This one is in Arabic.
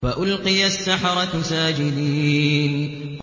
فَأُلْقِيَ السَّحَرَةُ سَاجِدِينَ